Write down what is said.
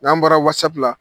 N'an bɔra wasapu la